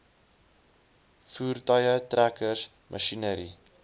voertuie trekkers masjinerie